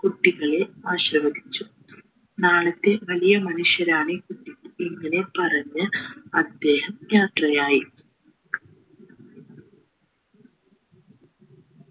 കുട്ടികളെ ആശിർവദിച്ചു നാളത്തെ വലിയമനുഷ്യരാണ് ഈ കുട്ടികൾ ഇങ്ങനെ പറഞ്ഞ് അദ്ദേഹം യാത്രയായി